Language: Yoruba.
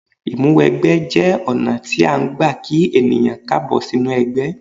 Ìmúwẹgbẹ́ jẹ́ ọ̀nà tí án gbà kí èèyàn Káàbọ̀ sínú ẹgbẹ́